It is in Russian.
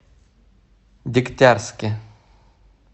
дегтярске